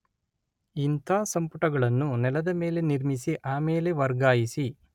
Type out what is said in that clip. ಇಂಥ ಸಂಪುಟಗಳನ್ನು ನೆಲದಮೇಲೆ ನಿರ್ಮಿಸಿ ಆಮೇಲೆ ವರ್ಗಾಯಿಸಿ